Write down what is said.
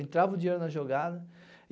Entrava o dinheiro na jogada.